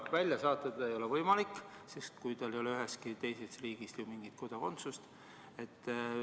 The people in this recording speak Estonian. Välja saata teda ei ole võimalik, kui tal ei ole ühegi teise riigi kodakondsust.